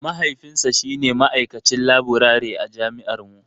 Mahaifinsa shi ne ma'aikacin laburare a jami'ar mu.